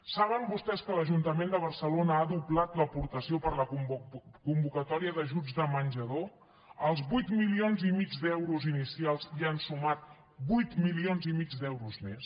saben vostès que l’ajuntament de barcelona ha doblat l’aportació per a la convocatòria d’ajuts de menjador als vuit milions i mig d’euros inicials hi han sumat vuit milions i mig d’euros més